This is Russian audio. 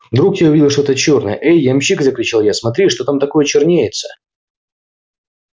вдруг я увидел что-то чёрное эй ямщик закричал я смотри что там такое чернеется